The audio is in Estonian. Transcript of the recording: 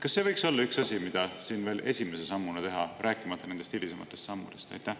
Kas see võiks olla üks asi, mida siin veel esimese sammuna teha, rääkimata nendest hilisematest sammudest?